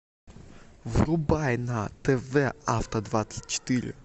врубай на тв авто двадцать четыре